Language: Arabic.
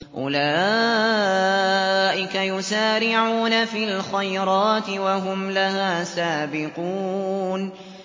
أُولَٰئِكَ يُسَارِعُونَ فِي الْخَيْرَاتِ وَهُمْ لَهَا سَابِقُونَ